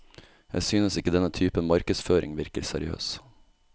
Jeg synes ikke denne typen markedsføring virker seriøs.